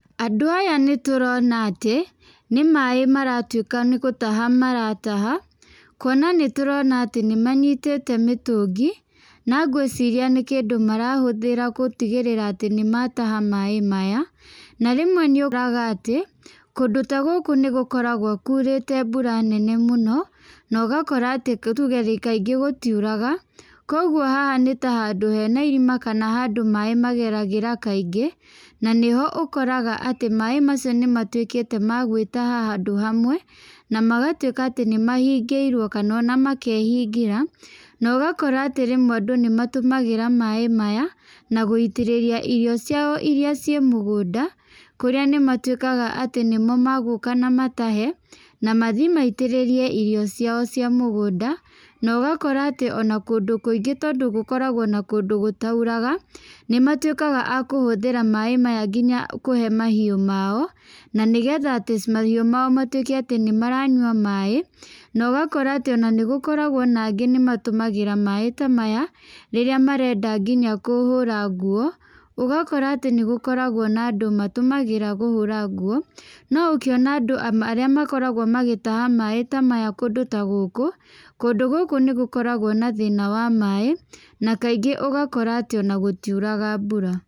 Andũ aya nĩ tũrona atĩ, nĩ maaĩ maratuĩka nĩ gũtaha marataha, kuona nĩ tũrona atĩ nĩ manyitĩte mĩtũngi. Na ngwĩciria nĩ kĩndũ marahũthĩra gũtigĩrĩra atĩ nĩ mataha maaĩ maya. Na rĩmwe nĩ ũkoraga atĩ, kũndũ ta gũkũ nĩ gũkoragwo kuurĩte mbura nene mũno, na ũgakora atĩ tuge kaingĩ gũtiuraga. Kũguo haha nĩ ta handũ hena irima kana handũ maaĩ mageragĩra kaingĩ, na nĩho ũkoraga atĩ maaĩ macio nĩ matuĩkĩte ma gwĩtaha handũ hamwe, na magatuĩka atĩ nĩ mahingĩirwo kana ona makehingĩra. Na ũgakora atĩ rĩmwe andũ nĩ matũmagĩra maaĩ maya, na gũtĩrĩria irio ciao irĩa ciĩ mũgũnda, kũrĩa nĩ matuĩkaga atĩ nĩmo magũũka na matahe, na mathi maitĩrĩrie irio ciao cia mũgũnda. Na ũgakora atĩ ona kũndũ kũingĩ tondũ gũkoragwo na kũndũ gũtauraga, nĩ matuĩkaga a kũhũthĩra maaĩ maya nginya kũhe mahiũ mao, na nĩgetha atĩ mahiũ mao matuĩke atĩ nĩ maranyua maaĩ. Na ũgakora atĩ ona nĩ gũkoragwo na angĩ nĩ matũmagĩra maaĩ ta maya, rĩrĩa marenda nginya kũhũra nguo. Ũgakora atĩ nĩ gũkoragwo na andũ matũmagĩra kũhũra nguo. No ũkĩona andũ arĩa makoragwo magĩtaha maaĩ ta maya kũndũ ta gũkũ, kũndũ gũkũ nĩ gũkoragwo na thĩna wa maaĩ, na kaingĩ ũgakora atĩ ona gũtiuraga mbura.